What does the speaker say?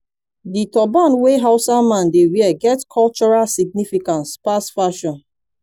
di turban wey hausa man dey wear get cultural significance pass fashion